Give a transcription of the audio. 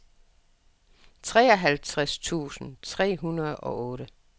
treoghalvtreds tusind tre hundrede og otte